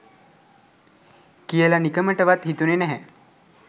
කියල නිකමටවත් හිතුන්නැහැ